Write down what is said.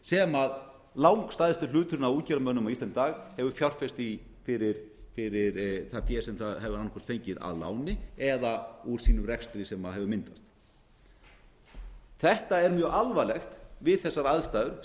sem langstærstur hluturinn af útgerðarmönnum á íslandi í dag hefur fjárfest í fyrir það fé sem það hefur annað hvort fengið að láni eða úr sínum rekstri sem hefur myndast þetta er mjög alvarlegt við þessar aðstæður